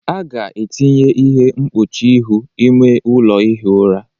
A ga-etinye ihe mkpuchi ihu ime ụlọ ihi ụra